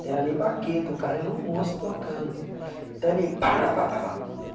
Não era nem baqueta, o cara era um monstro tocando, então ele, pa, rá, pa, pa, pa